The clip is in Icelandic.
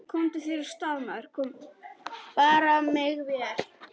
Komdu þér af stað, maður!